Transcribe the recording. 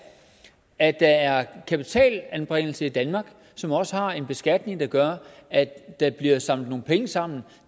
at der er kapitalanbringelse i danmark som også har en beskatning der gør at der bliver samlet nogle penge sammen